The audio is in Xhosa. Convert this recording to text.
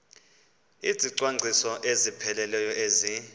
izicwangciso ezipheleleyo ezi